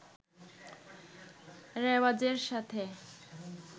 রেওয়াজের সাথে